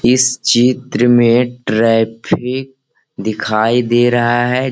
इस चित्र में ट्रैफिक दिखाई दे रहा है।